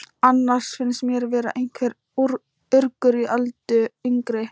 Annars finnst mér vera einhver urgur í Öldu yngri.